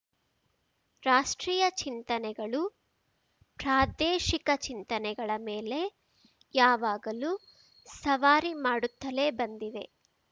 ರಾಷ್ಟ್ರೀಯ ಚಿಂತನೆಗಳು ಪ್ರಾದೇಶಿಕ ಚಿಂತನೆಗಳ ಮೇಲೆ ಯಾವಾಗಲೂ ಸವಾರಿ ಮಾಡುತ್ತಲೇ ಬಂದಿವೆ